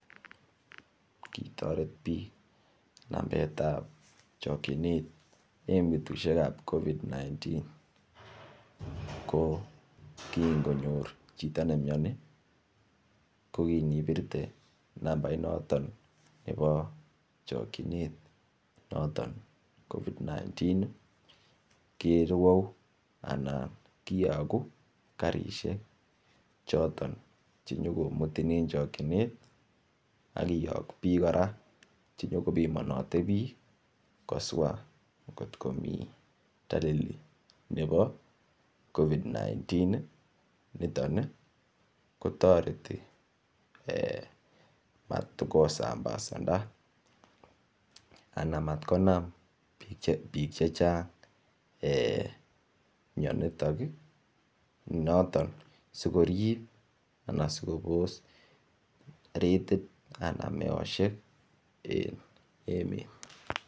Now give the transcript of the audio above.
Kitoret bik nambetab chokyinet en betusiek ab covid 19 ko kinyor chito ne mioni ko kin ibirte kwo nambainato nebo chokyinet noton covid 19 ii kerwou anan kiyogu karisiek choton Che nyo komutin en chokyinet ak kiyok bik kora Che bimonote bik koswa angot komi dalili nebo covid 19 niton ko toreti komat ko sambasanda anan mat konam bik chechang mionitok notok si korib anan kobos retit anan meosiek en emet